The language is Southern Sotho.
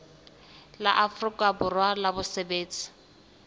la afrika borwa la basebetsi